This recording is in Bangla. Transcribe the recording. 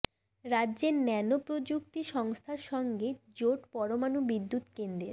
রাজ্যের ন্যানো প্রযুক্তি সংস্থার সঙ্গে জোট পরমাণু বিদ্যুৎ কেন্দ্রের